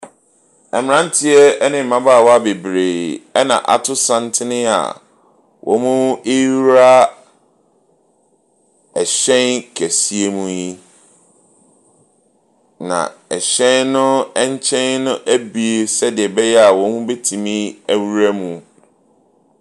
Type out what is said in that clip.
Mmranteɛ ne mmabaawa bebree na ato santen a wɔrewura ɔhyɛn kɛseɛ mu yi. Na ɛhyɛn no bi sɛdeɛ ɛbɛyɛ a wɔbetumi awɔra mu.